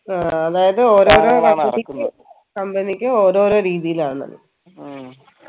ആഹ് അതായത് ഓരോരൊ company ക്ക്‌ ഓരോരോ രീതിയിലാന്നത്